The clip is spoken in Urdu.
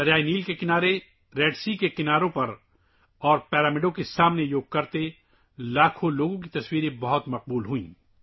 بحیرہ احمر کے ساحلوں، دریائے نیل کے کنارے اور اہرام کے سامنے لاکھوں افراد کی یوگا کرتے ہوئے تصاویر بہت مشہور ہوئیں